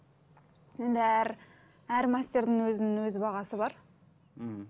енді әр әр мастердің өзінің өз бағасы бар мхм